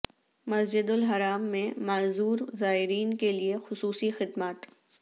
مسجد الحرام میں معذور زائرین کے لئے خصوصی خدمات